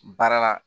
Baara la